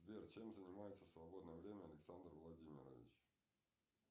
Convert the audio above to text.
сбер чем занимается в свободное время александр владимирович